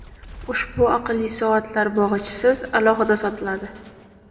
Ushbu aqlli soatlar bog‘ichisiz, alohida sotiladi.